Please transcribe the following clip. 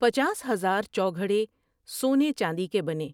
پچاس ہزار چوگھڑے سونے چاندنی کے بنے ۔